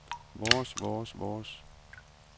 vores vores vores